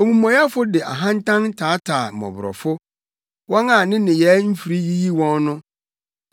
Omumɔyɛfo de ahantan taataa mmɔborɔfo, wɔn a ne nneyɛe mfiri yiyi wɔn no.